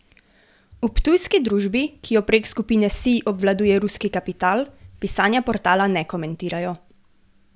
V ptujski družbi, ki jo prek skupine Sij obvladuje ruski kapital, pisanja portala ne komentirajo.